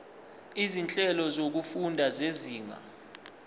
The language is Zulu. izinhlelo zokufunda zezinga